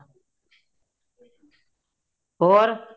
ਹੋਰ